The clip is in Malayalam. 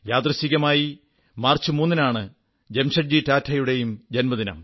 യാദൃച്ഛികമായി മാർച്ച് 3 നാണ് ജാംഷഡ്ജി ടാറ്റായുടെയും ജന്മദിനം